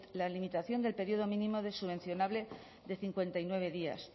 la limitación del periodo mínimo subvencionable de cincuenta y nueve días